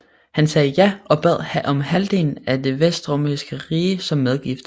Han sagde ja og bad om halvdelen af det vestromerske rige som medgift